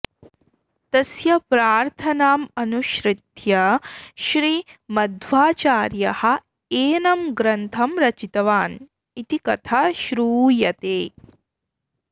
तस्य प्रार्थनाम् अनुसृत्य श्रीमध्वाचार्यः एनं ग्रन्थं रचितवान् इति कथा शृयते